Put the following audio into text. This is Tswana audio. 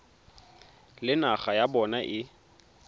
le naga ya bona e